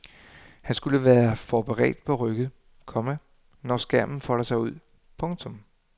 Han skulle være forberedt på rykket, komma når skærmen folder sig ud. punktum